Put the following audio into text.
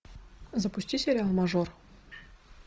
запусти сериал мажор